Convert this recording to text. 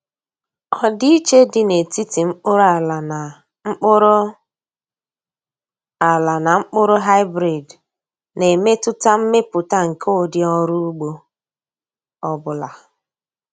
Ọdịiche dị n’etiti mkpụrụ ala na mkpụrụ ala na mkpụrụ hybrid na-emetụta mmepụta nke ụdị ọrụ ugbo ọ bụla.